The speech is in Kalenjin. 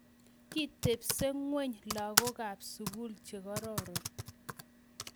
Kitebso ngweny lagook kab sugul chegororon